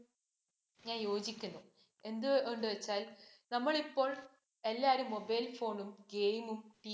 ഞാന്‍ യോജിക്കുന്നു. എന്ത് കൊണ്ട് വച്ചാല്‍ നമ്മള്‍ ഇപ്പോള്‍ എല്ലാരും mobile phone ഉം, Game ഉം